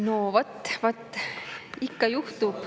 No vot-vot, ikka juhtub.